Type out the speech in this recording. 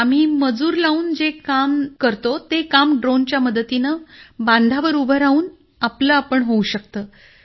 आम्ही मजूर लावून जे काम करतो ते काम ड्रोनच्या मदतीने बांधावर उभं राहून आपलं आपण होऊ शकतं